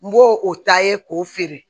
N b'o o ta ye k'o feere